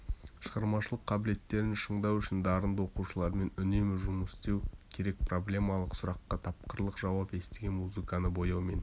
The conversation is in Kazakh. шығармашылық қабілеттерін шыңдау үшін дарынды оқушылармен үнемі жұмыс істеу керекпроблемалық сұраққа тапқырлық жауап естіген музыканы бояумен